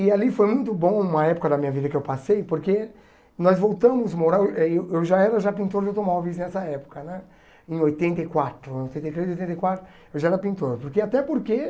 E ali foi muito bom uma época da minha vida que eu passei, porque nós voltamos morar, eu aí eu já era já pintor de automóveis nessa época né, em oitenta e quatro, oitenta e três, oitenta e quatro, eu já era pintor. Porque até porque